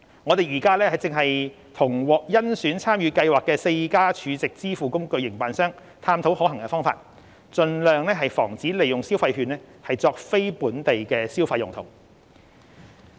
我們正與獲甄選參與計劃的4家儲值支付工具營辦商探討可行方法，盡量防止利用消費券作非本地消費用途。